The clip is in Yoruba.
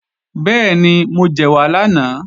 Bẹ́ẹ̀ni, mo jẹ̀wà lánàá